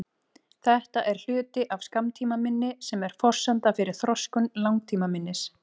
Þetta er hluti af skammtímaminni sem er forsenda fyrir þroskun langtímaminnis.